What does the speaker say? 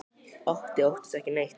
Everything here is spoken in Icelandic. Otti óttast ekki neitt!